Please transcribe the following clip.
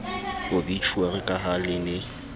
obitjhuari ka ha le ne